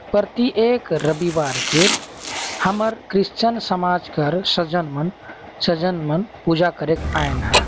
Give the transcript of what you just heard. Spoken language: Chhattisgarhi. प्रति एक रविवार के हमर क्रिश्चियन समाज कर सजन सजन मन पूजा करेंक आइन ह।